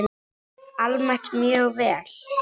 Almennt mjög vel.